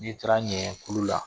Ni taara ɲɛɛn kulu la